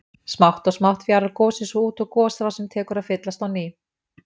Smátt og smátt fjarar gosið svo út og gosrásin tekur að fyllast á ný.